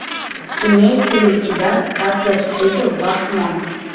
имеется ли у тебя как я встретил вашу маму